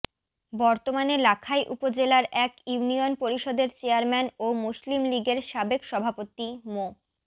বর্তমানে লাখাই উপজেলার এক ইউনিয়ন পরিষদের চেয়ারম্যান ও মুসলিম লীগের সাবেক সভাপতি মো